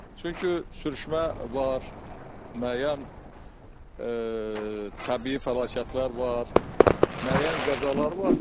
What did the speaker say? Çünki sürüşmə var, müəyyən təbii fəlakətlər var, müəyyən qəzalar var.